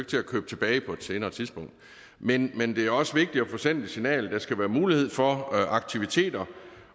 til at købe tilbage på et senere tidspunkt men men det er også vigtigt at få sendt et signal om at der skal være mulighed for aktiviteter